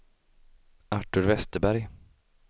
Artur Vesterberg